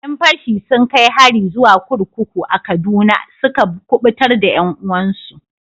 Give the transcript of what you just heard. Yan fashi sun kai hari zuwa kurkuku a Kaduna suka kubutar da 'yan uwansu.